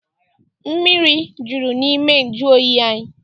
Mmiri juru n'ime nju oyi anyị.